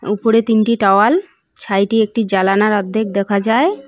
উপরে তিনটি টাওয়াল ছাইট এ একটি জালানার অর্ধেক দেখা যায়।